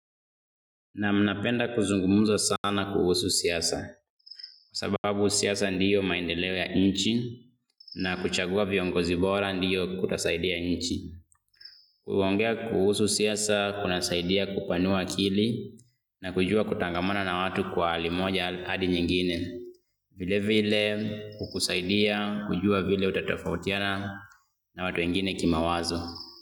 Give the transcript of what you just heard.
Naam napenda kuzungumza sana kuhusu siasa. Kwa sababu siasa ndiyo maendeleo ya nchi na kuchagua viongozi bora ndiyo kutasaidia nchi. Kuongea kuhusu siasa kunasaidia kupanua akili na kujua kutangamana na watu kwa hali moja hadi nyingine. Vile vile kukusaidia, kujua vile utatofautiana na watu wengine kimawazo.